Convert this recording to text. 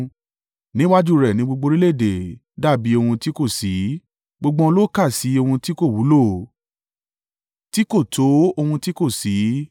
Níwájú rẹ̀ ni gbogbo orílẹ̀-èdè dàbí ohun tí kò sí; gbogbo wọn ló kà sí ohun tí kò wúlò tí kò tó ohun tí kò sí.